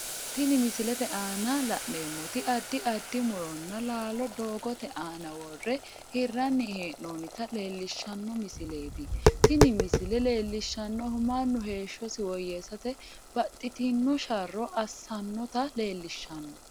Tini misilete aanna la'neemoti addi addi muronna laallo dogoote aanna wore hiranni hee'noonnita leelishano misileeti tinni misile leelishanohu Manu heeshosi woyeesate baxitino sharo asanota leelishano